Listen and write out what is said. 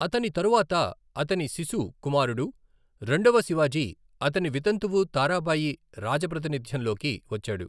అతని తరువాత అతని శిశు కుమారుడు రెండవ శివాజీ అతని వితంతువు తారాబాయి రాజప్రతినిధ్యంలోకి వచ్చాడు.